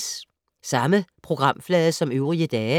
Samme programflade som øvrige dage